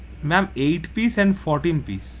Ma'am eight piece and fourteen piece.